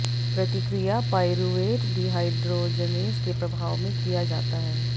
प्रतिक्रिया pyruvate dehydrogenase के प्रभाव में किया जाता है